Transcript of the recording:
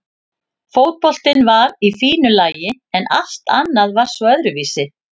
Fótboltinn var í fínu lagi en allt annað var svo öðruvísi.